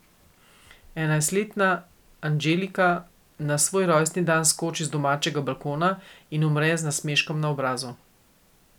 Enajstletna Angelika na svoj rojstni dan skoči z domačega balkona in umre z nasmeškom na obrazu.